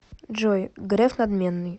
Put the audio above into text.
джой греф надменный